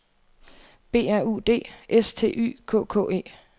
B R U D S T Y K K E